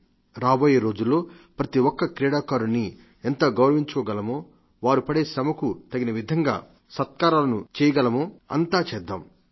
రండి రాబోయే రోజుల్లో ప్రతిఒక్క క్రీడాకారుడిని ఎంత గౌరవించుకోగలమో వారు పడే శ్రమకు తగిన విధంగా పురస్కృతులను చేయగలయో అంతా చేద్దాం